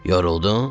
Yoruldun?